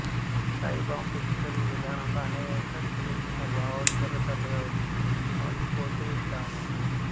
ఈ స్థాయీభావం పెచ్చుపెరిగి విధానంలో అనేక చిన్నచిన్న భావాలు తెరలు తెరలుగా వచ్చి సమసిపోతుటాము